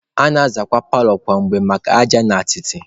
A na-azakwa paalọ kwa mgbe maka aja na atịtị.